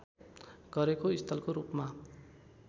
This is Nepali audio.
गरेको स्थलको रूपमा